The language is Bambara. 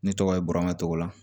Ne tɔgɔ ye burama tɔgɔla